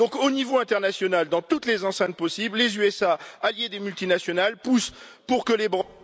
Donc au niveau international, dans toutes les enceintes possibles, les États Unis, alliés des multinationales, poussent pour que les bre...